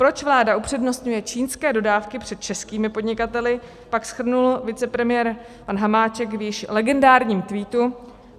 Proč vláda upřednostňuje čínské dodávky před českými podnikateli, pak shrnul vicepremiér pan Hamáček v již legendárním tweetu: